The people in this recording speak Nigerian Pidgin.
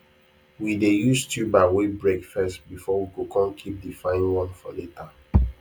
we dey use tuber wey break first before we go come keep the fine one for later